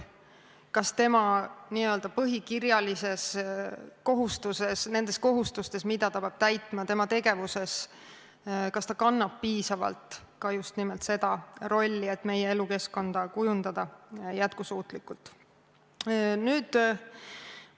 Kas tema oma n-ö põhikirjalisi kohustusi täites, mida ta peab täitma oma tegevusega, kannab piisavalt just nimelt seda rolli, et meie elukeskkonda kujundada jätkusuutlikult?